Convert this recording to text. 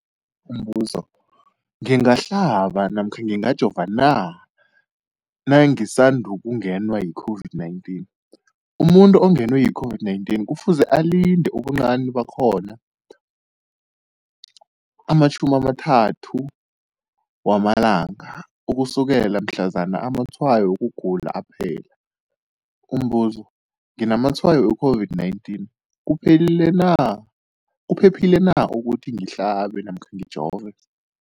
Umbuzo, ngingahlaba namkha ngingajova na nangisandu kungenwa yi-COVID-19? Umuntu ongenwe yi-COVID-19 kufuze alinde ubuncani bakhona ama-30 wama langa ukusukela mhlazana amatshayo wokugula aphela. Umbuzo, nginamatshayo we-COVID-19, kuphephile na ukuthi ngihlabe namkha ngijove?